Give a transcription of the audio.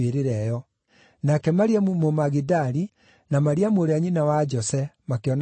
Nake Mariamu Mũmagidali na Mariamu ũrĩa nyina wa Jose makĩona harĩa aigirwo.